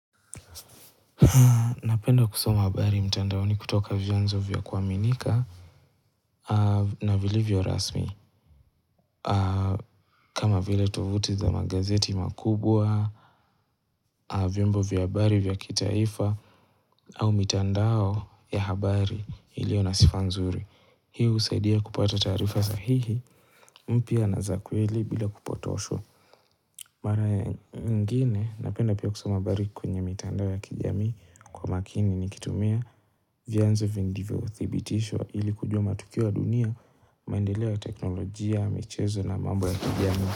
Napenda kusoma habari mtandaoni kutoka vyanzo vya kuaminika na vilivyo rasmi kama vile tuvuti za magazeti makubwa vyombo vya habari vya kitaifa au mitandao ya habari ilio na sifa nzuri Hii husaidia kupata taarifa sahihi mpya na za kweli bila kupotoshwa Mara ya nyingine napenda pia kusoma habari kwenye mitandao ya kijamii Kwa makini nikitumia vyanzo vingi ndivyo thibitishwa ili kujua matukio ya dunia maendeleo ya teknolojia, michezo na mambo ya kijamii.